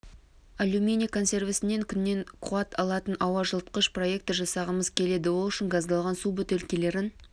алюминий консервісінен күннен қуат алатын ауа жылытқыш проектор жасағымыз келеді ол үшін газдалған су бөтелкелерін